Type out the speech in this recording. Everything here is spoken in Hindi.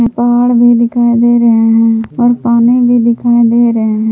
पहाड़ भी दिखाई दे रहे हैं और पानी भी दिखाई दे रहे हैं।